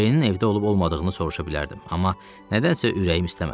Ceynin evdə olub-olmadığını soruşa bilərdim, amma nədənsə ürəyim istəmədi.